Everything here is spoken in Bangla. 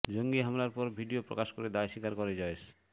জঙ্গি হামলার পর ভিডিও প্রকাশ করে দায় স্বীকার করে জয়েশ